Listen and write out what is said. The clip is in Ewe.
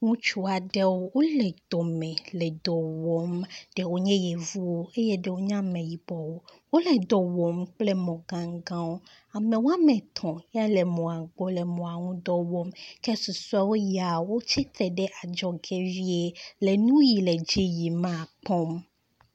Ŋutsu aɖewo wole dɔme le dɔ wɔm. Ɖewo nye yevuwo eye ɖewo nye ameyibɔwo. Wole dɔ wɔm kple mɔ gãŋgãwo. Ame woametɔ̃ yea le emɔa gbɔ le mɔa ŋdɔ wɔm ke susɔe yea, wotsitre ɖe adzɔge vie le nu yi le dzi yim ma kpɔm.